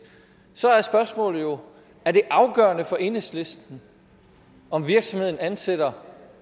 så er spørgsmålet jo er det afgørende for enhedslisten at virksomheden ansætter